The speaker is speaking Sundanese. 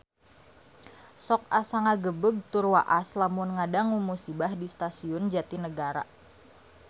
Sok asa ngagebeg tur waas lamun ngadangu musibah di Stasiun Jatinegara